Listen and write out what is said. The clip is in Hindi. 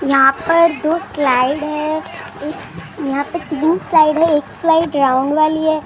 यहाँ पर दो स्लाईड हैं यहाँ पर तीन स्लाईड है एक स्लाईड राउंड वाली है।